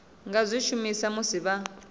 nga zwi shumisa musi vha